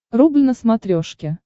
рубль на смотрешке